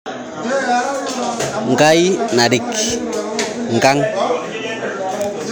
Ngai naarik nkang